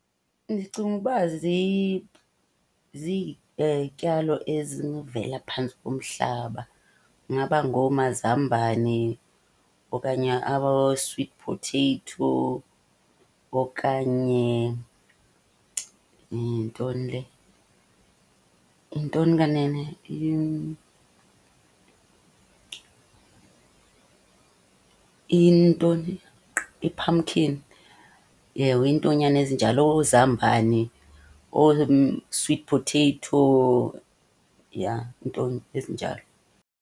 Ndicinguba zizityalo ezinovela phantsi komhlaba. Kungaba ngoomazambane okanye abo-sweet potato okanye, yintoni le? Yintoni kanene? Intoni? I-pumpkin. Ewe, iintonyana ezinjalo, oozambani, oo-sweet potato, ya iinto ezinjalo.